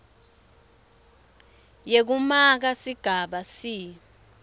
yekumaka sigaba c